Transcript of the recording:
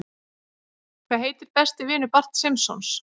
Hvað heitir besti vinur Barts Simpsons?